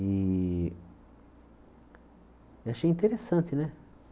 E achei interessante, né?